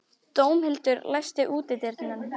Dómhildur, læstu útidyrunum.